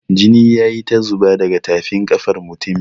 Jini ya yi ta zuba daga tafin ƙafar mutumin.